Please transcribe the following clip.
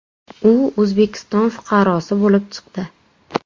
U O‘zbekiston fuqarosi bo‘lib chiqdi.